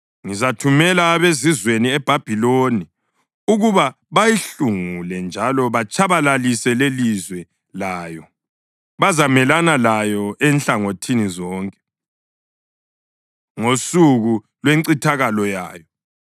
Ngizathumela abezizweni eBhabhiloni ukuba bayihlungule njalo batshabalalise lelizwe layo; bazamelana layo enhlangothini zonke ngosuku lwencithakalo yayo.